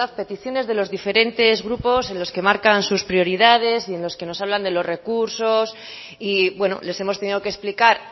peticiones de los diferentes grupos en los que marcan sus prioridades y en los que nos hablan de los recursos y bueno les hemos tenido que explicar